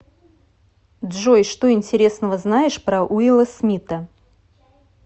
джой что интересного знаешь про уилла смита